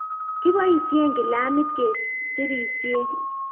kiboisien kilamit ke serisien